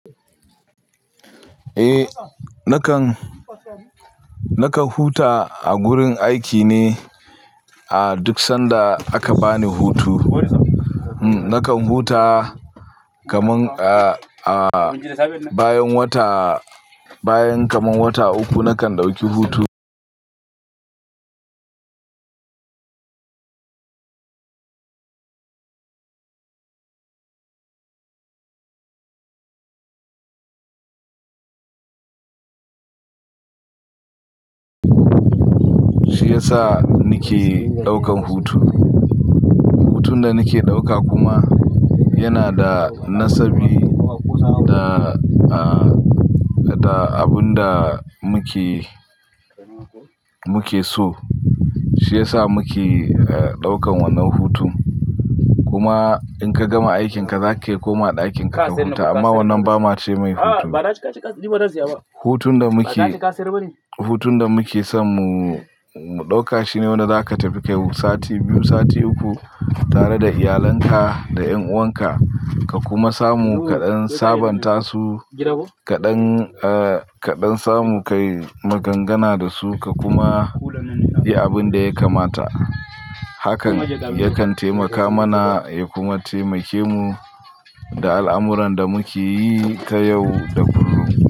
Eh, nakan, nakan huta a gurin aiki ne duk sanda aka bani hutu. Hm, nakan huta kaman, uh, uh, bayan wata, bayan kaman wata uku nakan ɗauki hutu. Shi ya sa nike ɗaukan hutu. Hutun da nike ɗauka kuma yana da nasabi da, uh, da abun da muke, muke so. Shi ya sa muke, eh, ɗaukan wannan hutu. Kuma in ka gama aikin ka zaka iya komawa ɗakin ka ka huta amma wannan ba ma ce mai hutu. Hutun da muke, hutun da muke son mu, mu ɗauka shine wanda zaka tafi kai sati biyu, sati uku tare da iyalinka, da 'yan'uwan ka, ka kuma samu kaɗan sabanta su kaɗan, eh, kaɗan samu kayi magangana da su ka kuma yi abun da ya kamata. Hakan yakan taimaka mana ya kuma taimake mu da al'amuran da muke yi ta yau da kullum.